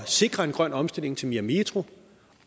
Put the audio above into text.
sikre en grøn omstilling til mere metro